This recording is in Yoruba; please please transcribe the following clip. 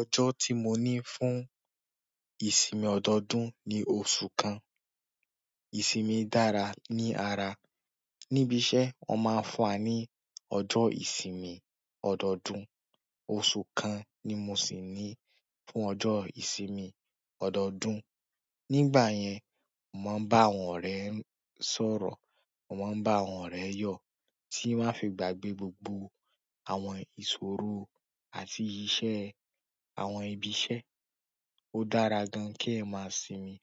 Ọjọ́ tí mo ní fún ìsinmi ọdọọdún ní oṣù kan. Ìsinmi dára ní ara. Níbi iṣẹ́ wọ́n máa ń fún wa ní ọjọ́ ìsinmi ọdọọdún. Oṣù kan ni mo sì ní fún ọjọ́ ìsinmi ọdọọdún. Nígbà yẹn mo máa ń bá àwọn ọ̀rẹ́ sọ̀rọ̀, mo máa ń bá àwọn ọ̀rẹ́ yo ti won a fi gbàgbé gbogbo àwọn ìṣòro àti iṣẹ́ àwọn ibi iṣẹ́. Ó dára gan-an kí ẹ máa sinmi,